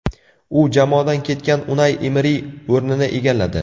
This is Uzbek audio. U jamoadan ketgan Unai Emeri o‘rnini egalladi.